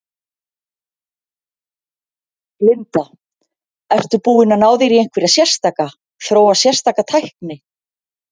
Linda: Ertu búinn að ná þér í einhverja sérstaka, þróa sérstaka tækni?